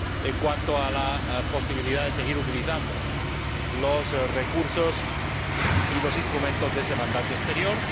en cuanto a la posibilidad de seguir utilizando los recursos y los instrumentos de ese mandato exterior.